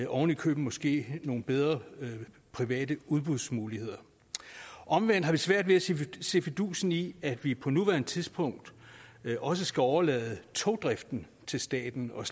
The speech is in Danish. oven i købet måske give nogle bedre private udbudsmuligheder omvendt har vi svært ved at se fidusen i at vi på nuværende tidspunkt også skal overlade togdriften til staten og